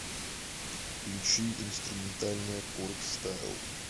включи инструментальная коргстайл